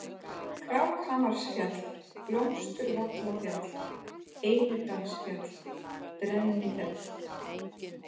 Krákhamarsfjall, Blómsturvallafjall, Einidalsfjall, Brennifell